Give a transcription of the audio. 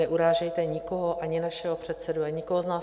Neurážejte nikoho, ani našeho předsedu, ani nikoho z nás.